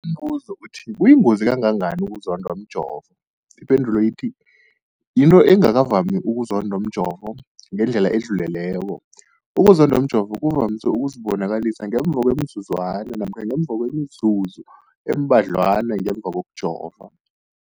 Umbuzo, kuyingozi kangangani ukuzondwa mjovo? Ipendulo, yinto engakavami ukuzondwa mjovo ngendlela edluleleko. Ukuzondwa mjovo kuvamise ukuzibonakalisa ngemva kwemizuzwana namkha ngemva kwemizuzu embadlwana ngemva kokujova.